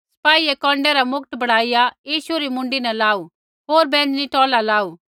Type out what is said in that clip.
सिपाईयै कौन्डै रा मुकट बणाईया यीशु री मुँडी न लाऊ होर बैंजनी टौला लाऊ